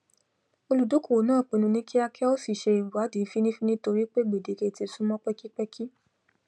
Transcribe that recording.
olùdókòwò náa pinnu ní kíákíá ó sì se ìwádí fínífíní torí pé gbèdéke tí súnmọn pẹkípẹkí